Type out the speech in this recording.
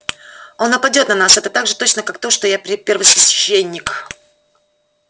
он нападёт на нас это так же точно как то что я первосвященник